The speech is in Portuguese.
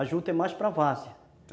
A juta é mais para varzea.